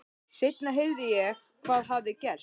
Seinna heyrði ég hvað hafði gerst.